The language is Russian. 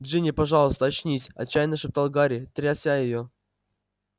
джинни пожалуйста очнись отчаянно шептал гарри тряся её